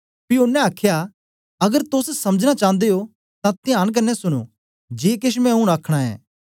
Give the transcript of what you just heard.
पी ओनें आखया अगर तोस समझना चांदे ओ तां त्यांन कन्ने सुनो जे केश मैं ऊन आखना ऐं